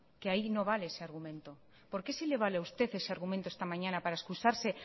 que ahí no vale ese argumento por qué si le vale a usted ese argumento esta mañana para excusarse